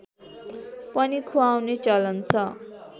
पनि ख्वाउने चलन छ